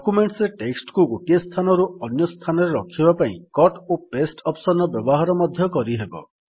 ଡକ୍ୟୁମେଣ୍ଟରେ text କୁ ଗୋଟିଏ ସ୍ଥାନରୁ ଅନ୍ୟ ସ୍ଥାନରେ ରଖିବା ପାଇଁ କଟ୍ ଓ ପାସ୍ତେ ଅପ୍ସନ୍ ର ବ୍ୟବହାର ମଧ୍ୟ କରିହେବ